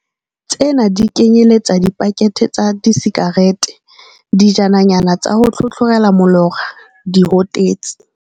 Tsena di kenyeletsa dipakethe tsa disikarete, dijananyana tsa ho tlhotlhorela molora, dihotetsi.